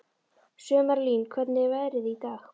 Sumarlín, hvernig er veðrið í dag?